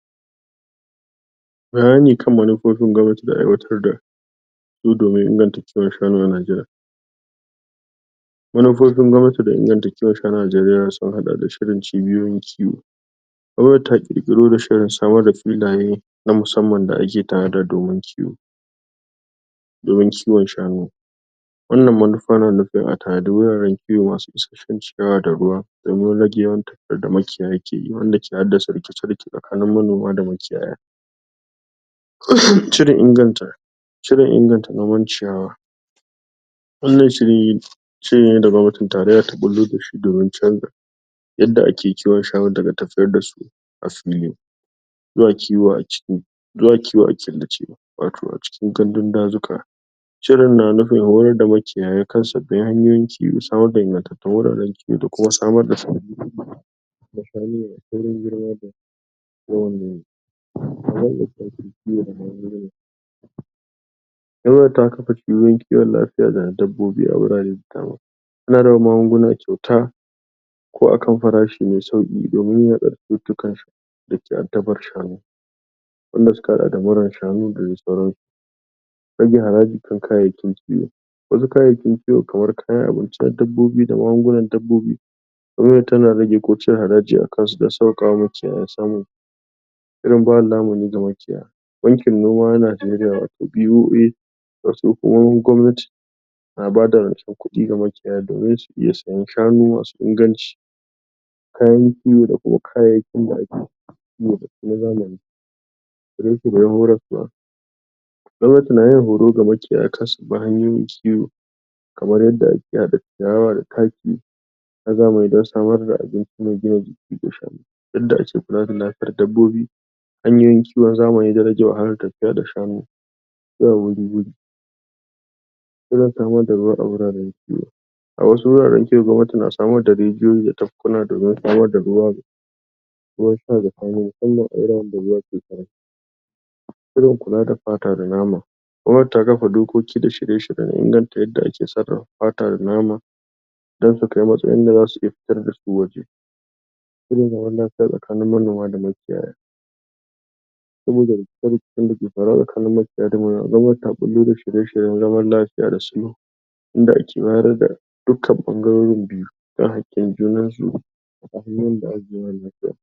Alamomin ciwon daji na prostate. Ciwon daji na prostate, yana shafar ƙwayar prostate, wato wata ƙaramar gland?? da yake ƙarƙashin mafitsara a jikin maza. Wannan hoto dai, yana nuni da wasu manyan alamomi, da suke nuni yuwuwar samun wannan cuta. Jin zafi ko ƙuna yayin fitsari, idan mutum yana jin raɗaɗi ko ƙuna lokacin fitsari, yana iya zama ɗaya daga cikin alamomin ciwon dajin prostate. Jin kamar? mafitsara bata gama sallamar fitsari ba, wannan yan nufin mutum yana jin kamar akwai sauran fitsari a cikin? mafitsarar sa, bayan ya gama fitsari. Yawan fitsari musamman da dare, idan mutum yana fitsari akai-akai musamman da daddare, yana iya zama ɗaya daga cikin alamomi na ciwon prostate. Rage yawan?? ruwan maniyyi yayin inzali, idan mutum yana lura da cewa yawan ruwan maniyyi yana raguwa, hakan na iya zama alama ta wannan cuta. Jin jinkiri ko raunana lokacin fitsari; idan mafitsara tana fitowa a hankali, ko kuma yana da rauni, yana iya zama alamar wannan cuta. Jini a cikin fitsari ko maniyyi; idan mutum ya lura da jini a fitsari ko maniyyi, yana da kyau ya garzaya asibiti, domin gwaji. Jin ciwo a ƙashin baya da sauran gaɓoɓi; ciwon daji na? prostate na iya haifar da zafi a ƙashi, musamman a baya da ƙafafuwa. Jin zafi a maraina; wasu mutane na iya fuskantar ciwo, ko ƙunci a maraina. Rauni ko rashin jin daɗi ƙafafu ko ƙasa; idan mutum yana jin ƙafafun sa na rauni, ko sun daina? jin daɗi, yana iya zama alama ta wannan cutar daji. Rashin iya riƙe fitsari ko bayan gida; wasu lokuta mutum zai iya rasa ikon riƙe fitsari ko bayan gida, saboda wannan matsalar. Hanyoyin da za a magance wannan: rage ƙiba ko rage rashin jin yunwa, mutane da ke fama da wannan ciwon daji na prostate, na iya fuskantar rage ƙiba, ko kuma rasa sha'awa. Cin abinci, a taƙaice dai idan mutum ya lura da waɗan nan alamomi, yana da kyau ya nemi likita, domin gwaji da magani. Gwajin prostate yana da matuƙar muhimmanci, musamman ga maza masu shekaru hamsin zuwa sama.